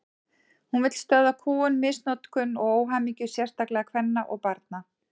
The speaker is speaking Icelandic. Hún vill stöðva kúgun, misnotkun og óhamingju, sérstaklega kvenna og barna.